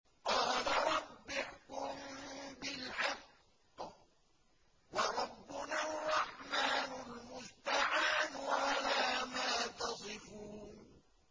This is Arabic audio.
قَالَ رَبِّ احْكُم بِالْحَقِّ ۗ وَرَبُّنَا الرَّحْمَٰنُ الْمُسْتَعَانُ عَلَىٰ مَا تَصِفُونَ